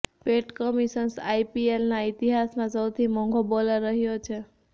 પેટ Cummins આઈપીએલના ઇતિહાસમાં સૌથી મોંઘો બોલર રહ્યો છે